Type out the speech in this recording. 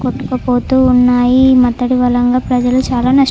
కొట్టుకు పోతూ ఉన్నాయి. ఈ మత్తడి వలన ప్రజలు చాల నష్టపోయి --